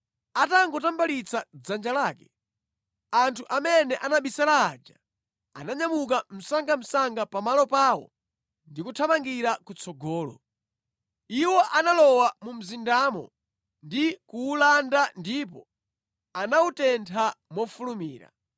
Atangotambalitsa dzanja lake, anthu amene anabisala aja ananyamuka msangamsanga pamalo pawo ndi kuthamangira kutsogolo. Iwo analowa mu mzindamo ndi kuwulanda ndipo anawutentha mofulumira.